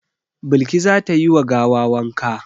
Balki za ta yi wa gawa wanka.